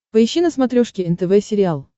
поищи на смотрешке нтв сериал